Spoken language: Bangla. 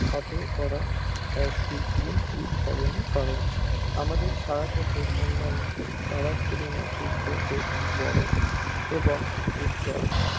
খাটো করা এক দিক দিয়ে ঠিক হবে না কারণ আমাদের ছায়াপথের অন্যান্য তারার তুলনায় সূর্য বেশ বড় এবং উজ্জ্বল